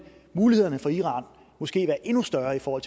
mulighederne for iran måske være endnu større for